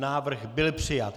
Návrh byl přijat.